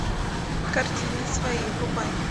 картина свои врубай